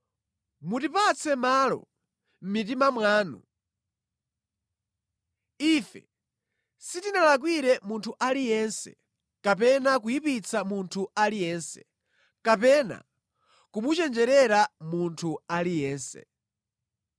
Mutipatse malo mʼmitima mwanu. Ife sitinalakwire munthu aliyense, kapena kuyipitsa munthu aliyense, kapena kumuchenjerera munthu aliyense.